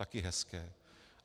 Taky hezké.